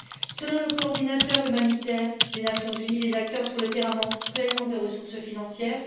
Selon le coordinateur humanitaire des Nations unies, les acteurs sur le terrain manquent cruellement de ressources financières.